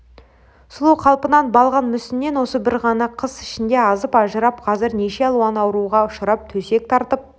сұлу қалпынан балғын мүсінінен осы бір ғана қыс ішінде азып ажырап қазір неше алуан ауруға ұшырап төсек тартып